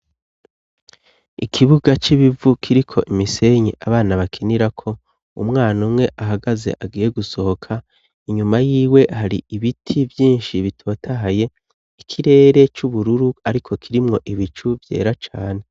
Ikibuga c'ibivu kiriko imisenyi abana bakinira ko umwana umwe ahagaze agiye gusohoka inyuma y'iwe hari ibiti vyinshi bitotahaye ikirere c'ubururu ariko kirimwo ibicu vyera cane.